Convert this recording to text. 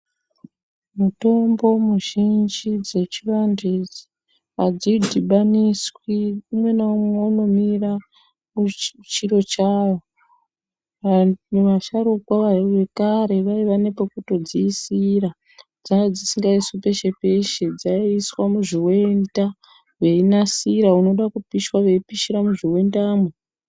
Mutombo muzhinji dzechivantu idzi hadzidhibaniswi umwe naumwe unomira muchiro chavo. Vantu vasharuka vekare vaiva nepokutodzisira dzaidzisingaiswi peshe-peshe dzaiiswa muzvivenda. Veinasira unoda kupishwa veipishira muzvivendamwo.